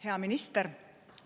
Hea minister!